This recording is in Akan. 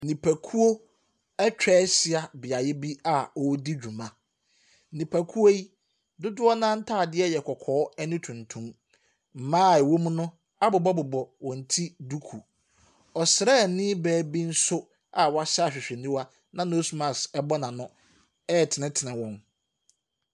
Nipakuo ɛtwa hyia beaeɛ bi a ɔredi dwuma. Nipakuo yi dodoɔ naa ntaadeɛ yɛ kɔkɔɔ ɛne tuntum. Mmaa ɛwɔ mu no abobɔbobɔ wɔn ti duku. Ɔsraniibaa bi nso a wahyɛ ahwehwɛniwa na nose mask ɛbɔ n'ano ɛretenetene wɔn.